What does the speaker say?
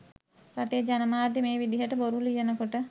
රටේ ජනමාධ්‍ය මේ විදිහට බොරු ලියනකොට